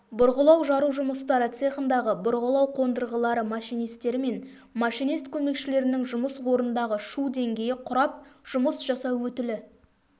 бұрғылау-жару жұмыстары цехындағы бұрғылау қондырғылары машинистері мен машинист көмекшілерінің жұмыс орындарындағы шу деңгейі құрап жұмыс жасау өтілі